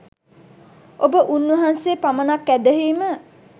ඔබ උන්වහන්සේ පමණක් ඇදහීම